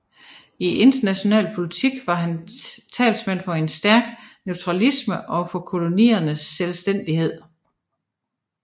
I international politik var han talsmand for en stærk neutralisme og for koloniernes selvstændighed